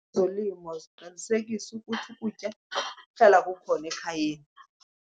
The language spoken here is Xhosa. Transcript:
Ezolimo ziqinisekisa ukuthi ukutya kuhlala kukhona ekhayeni.